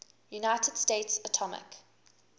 united states atomic